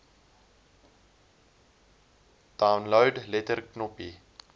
download letter knoppie